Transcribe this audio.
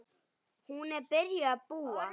Hún er byrjuð að búa!